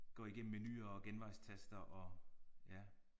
Går igennem menuer og genvejstaster og ja